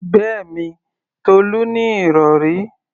Bẹ́ẹ̀mi, Tolú ní ìrọ̀rí.